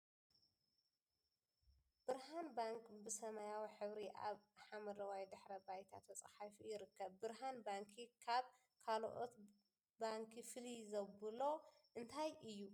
ብርሃን ባንክ ብ ሰማያዊ ሕብሪ ኣብ ሓመደዋይ ድሕረ ባይታ ተፃሒፉ ይርከብ ። ብርሃን ባንኪ ካ ካልአት ባንኪ ፍልይ ዘብሎ እንታይ እዩ ?